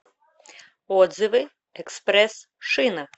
отзывы экспресс шина